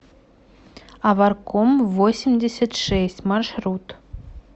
аварком восемьдесят шесть маршрут